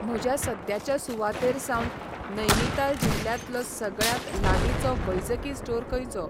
म्हज्या सद्याच्या सुवातेर सावन नैनिताल जिल्ल्यातलो सगळ्यांत लागींचो वैजकी स्टोर खंयचो?